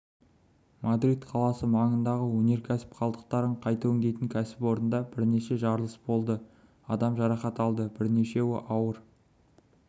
мадрид қаласы маңындағы өнеркәсіп қалдықтарын қайта өңдейтін кәсіпорында бірнеше жарылыс болды адам жарақат алды бірнешеуі ауыр